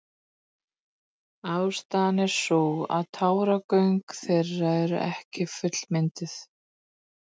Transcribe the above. Ástæðan er sú að táragöng þeirra eru ekki fullmynduð.